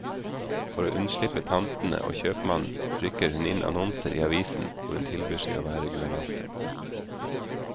For å unnslippe tantene og kjøpmannen, rykker hun inn annonser i avisen hvor hun tilbyr seg å være guvernante.